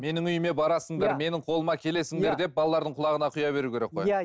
менің үйіме барасыңдар менің қолыма келесіңдер деп балалардың құлағына құя беру керек қой иә